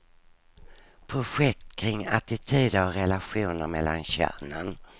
Projekt kring attityder och relationer mellan könen.